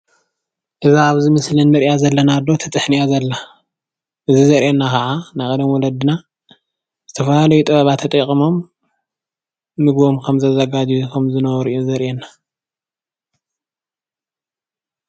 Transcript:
እዛ ኣብ ምስሊ እንረእያ ዘለና ኣዶ ትጥሕን እያ ዘላ። እዙይ ዘርእየና ከዓ ናይ ቀደም ወለድና ዝተፈላለዩ ጥበባት ተጠቂሞም ምግቦም ከምዘዘጋጅው ከም ዝነበሩ እዩ ዘርእየና።